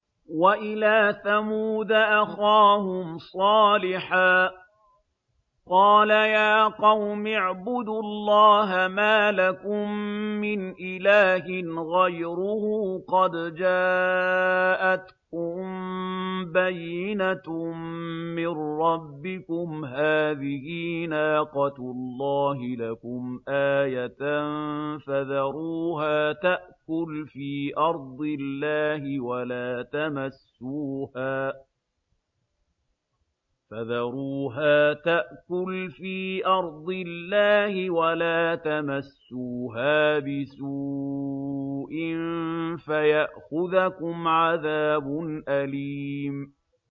وَإِلَىٰ ثَمُودَ أَخَاهُمْ صَالِحًا ۗ قَالَ يَا قَوْمِ اعْبُدُوا اللَّهَ مَا لَكُم مِّنْ إِلَٰهٍ غَيْرُهُ ۖ قَدْ جَاءَتْكُم بَيِّنَةٌ مِّن رَّبِّكُمْ ۖ هَٰذِهِ نَاقَةُ اللَّهِ لَكُمْ آيَةً ۖ فَذَرُوهَا تَأْكُلْ فِي أَرْضِ اللَّهِ ۖ وَلَا تَمَسُّوهَا بِسُوءٍ فَيَأْخُذَكُمْ عَذَابٌ أَلِيمٌ